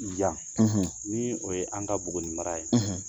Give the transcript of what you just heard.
Yan ni o ye an ka Buguni ni mara ye